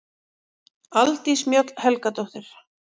Aldís Mjöll Helgadóttir